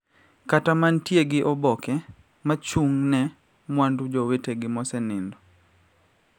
Kata mantie gi oboke ma chung` ne mwandu jowetegi mosenindo